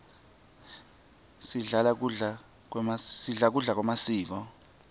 sidla kudla kwemasiko